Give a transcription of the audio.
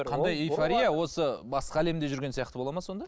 қандай эйфория осы басқа әлемде жүрген сияқты болады ма сонда